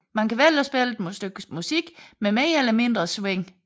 Man kan vælge at spille et stykke musik med mere eller mindre swing